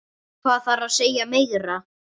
Hvað þarf að segja meira?